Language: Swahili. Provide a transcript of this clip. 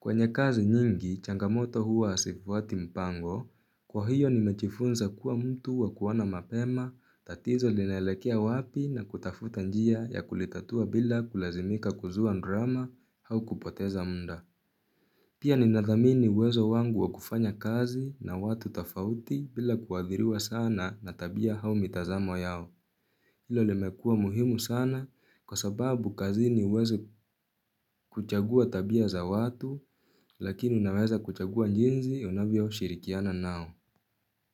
Kwenye kazi nyingi, changamoto huwa hasifuati mpango, kwa hiyo nimechifunza kuwa mtu wa kuoana mapema, tatizo linaelekea wapi na kutafuta njia ya kulitatua bila kulazimika kuzua ndrama hau kupoteza munda. Pia ninadhamini uwezo wangu wa kufanya kazi na watu tafauti bila kuadhiriwa sana na tabia hau mitazamo yao. Ilo limekua muhimu sana kwa sababu kazini uwezo kuchagua tabia za watu lakini unaweza kuchagua njinzi unavyo shirikiana nao.